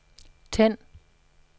tænd